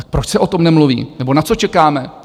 Tak proč se o tom nemluví nebo na co čekáme?